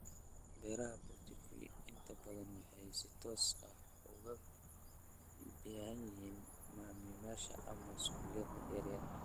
Beeraha Boutique inta badan waxay si toos ah uga iibiyaan macaamiisha ama suuqyada yaryar.